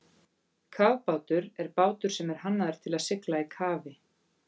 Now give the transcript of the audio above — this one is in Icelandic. Kafbátur er bátur sem er hannaður til að sigla í kafi.